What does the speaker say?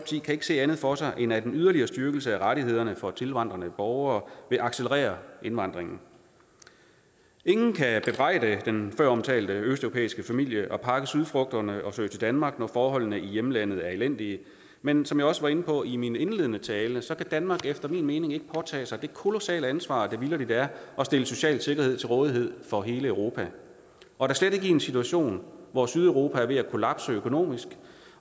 kan ikke se andet for sig end at en yderligere styrkelse af rettighederne for tilvandrende borgere vil accelerere indvandringen ingen kan bebrejde den føromtalte østeuropæiske familie i at pakke sydfrugterne og flytte til danmark når forholdene i hjemlandet er elendige men som jeg også var inde på i min indledende tale så kan danmark efter min mening ikke påtage sig det kolossale ansvar det vitterligt er at stille social sikkerhed til rådighed for hele europa og da slet ikke i en situation hvor sydeuropa er ved at kollapse økonomisk